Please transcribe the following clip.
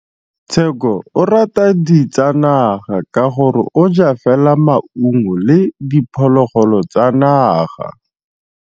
Tshekô o rata ditsanaga ka gore o ja fela maungo le diphologolo tsa naga.